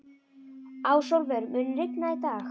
Ásólfur, mun rigna í dag?